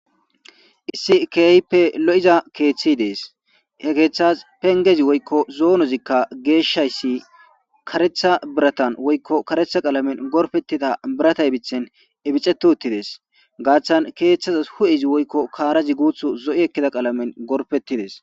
Issi kehippe lo'iza keththi dees.he keththas penggezi woyko zonozikka geyshayssi kareththa birattan woyko qalamen gorfettida birata ibththen ibixeti uttidees. Gaththan keththeyas hu'ezi woyko karazi guththi zo'o ekkiza qalamen gorpettides.